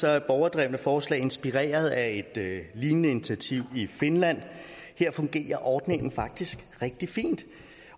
er borgerdrevne forslag inspireret af lignende initiativ i finland her fungerer ordningen faktisk rigtig fint